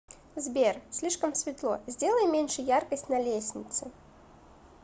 сбер слишком светло сделай меньше яркость на лестнице